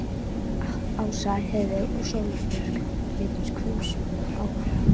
Ása, Heiðveig og Sóley Björk litu hvumsa hver á aðra.